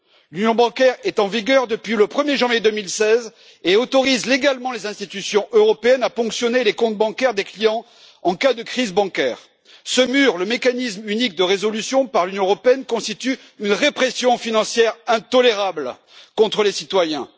L'Union bancaire est en vigueur depuis le 1er janvier 2016 et autorise légalement les institutions européennes à ponctionner les comptes bancaires des clients en cas de crise bancaire. Ce MRU, le mécanisme de résolution unique par l'Union européenne, constitue une répression financière intolérable contre les citoyens.